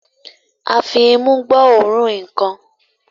a fí imú gbó òrun nkán